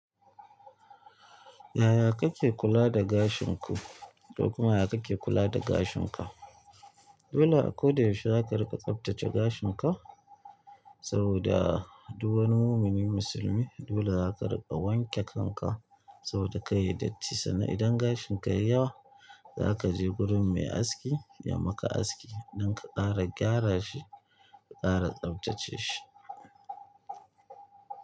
Yaya kake kula da gashin ku ko kuma yaya kake kula da gashin ka? Dole a koda yaushe za ka riƙa tsaftace gashin ka saboda duk wani mumini musulmi dole za ka riƙa wanke kanka saboda kai datti saboda idan gashinka yayi yawa zakaje gurin mai aski yamaka aski dan ka ƙara gyarashi ka ƙara tsaftace shi.